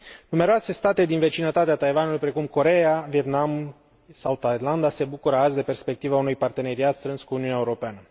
Numeroase state din vecinătatea Taiwanului, precum Coreea, Vietnamul sau Thailanda, se bucură azi de perspectiva unui parteneriat strâns cu Uniunea Europeană.